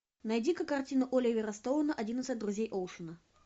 найди ка картину оливера стоуна одиннадцать друзей оушена